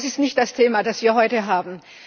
Aber das ist nicht das Thema, das wir heute haben.